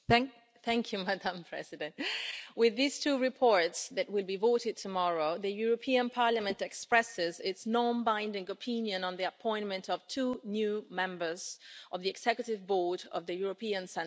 Madam President, with these two reports that will be voted tomorrow, the European Parliament expresses its non binding opinion on the appointment of two new members of the Executive Board of the European Central Bank.